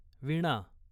वीणा